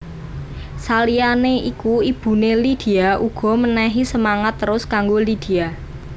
Saliyané iku ibuné Lydia uga menehi semangat terus kanggo Lydia